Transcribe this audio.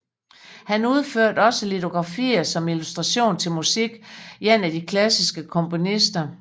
Han udførte også litografier som illustration til musik af de klassiske komponister